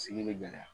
Sigi bɛ gɛlɛya